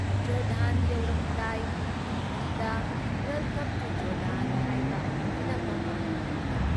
Jordan ꯌꯧꯔꯝꯗꯥꯏ ꯇꯤ ꯚꯤꯗ "ꯋꯦꯜꯀꯝ ꯇꯨ ꯖꯣꯔꯗꯥꯟ" ꯍꯥꯏꯕ ꯐꯤꯂꯝ ꯑꯃ ꯎꯍꯜꯂꯤ ꯫